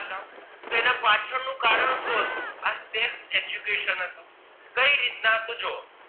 આ sex education હતું કઈ રીત ના તો જુઓ